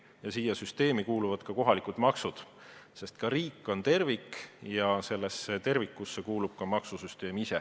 Ja sellesse süsteemi kuuluvad ka kohalikud maksud, sest ka riik on tervik ja sellesse tervikusse kuulub ka maksusüsteem ise.